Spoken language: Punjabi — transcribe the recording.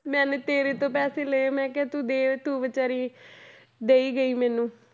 ਮੈਨੇ ਤੇਰੇ ਤੋਂ ਪੈਸੇ ਲਏ ਮੈਂ ਕਿਹਾ ਤੂੰ ਦੇ ਤੂੰ ਬੇਚਾਰੀ ਦੇਈ ਗਈ ਮੈਨੂੰ।